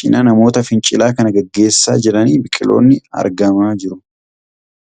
cina namoota fincila kan geggeessaa jiranii biqiloonni argamaa jiru.